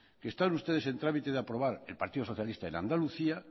que están ustedes en trámite de aprobar el partido socialista en andalucía